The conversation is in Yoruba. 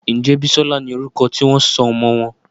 Njé Bisola ní orúko tí wón sọ ọmọ wón?